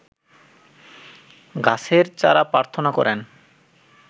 গাছের চারা প্রার্থনা করেন